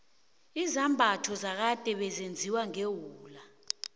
izambatho zakade bezenziwa ngewula